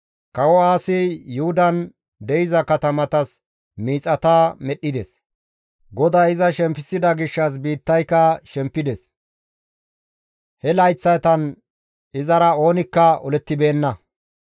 Kawo Aasi Yuhudan de7iza katamatas miixata medhdhides. GODAY iza shemppisida gishshas biittayka shemppides; he layththatan izara oonikka olettibeenna.